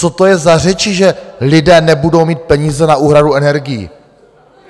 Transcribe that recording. Co to je za řeči, že lidé nebudou mít peníze na úhradu energií?